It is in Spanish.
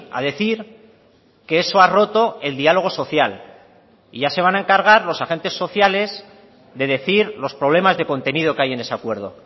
a decir que eso ha roto el diálogo social y ya se van a encargar los agentes sociales de decir los problemas de contenido que hay en ese acuerdo